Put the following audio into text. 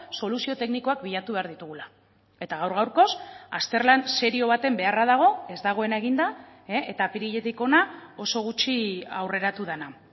soluzio teknikoak bilatu behar ditugula eta gaur gaurkoz azterlan serio baten beharra dago ez dagoena eginda eta apiriletik hona oso gutxi aurreratu dena